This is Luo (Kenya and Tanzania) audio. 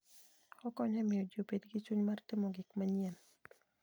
Okonyo e miyo ji obed gi chuny mar timo gik manyien.